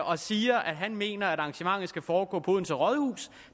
og siger at han mener at arrangementet skal foregå på odense rådhus